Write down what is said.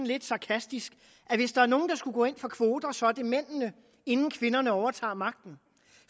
lidt sarkastisk at hvis der er nogen der skulle gå ind for kvoter er det mændene inden kvinderne overtager magten